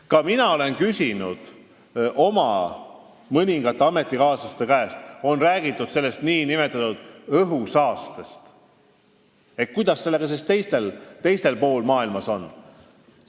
Ka mina olen küsinud oma mõningate ametikaaslaste käest, kui on räägitud õhusaastest, et kuidas sellega siis mujal pool maailmas on.